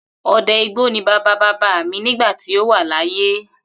O̩de̩ igbó ni bàbá bàbá mi nígbà tí ó wà láyé